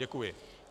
Děkuji.